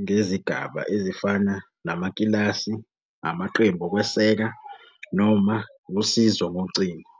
ngezigaba ezifana namakilasi, amaqembu okweseka, noma usizo ngocingo.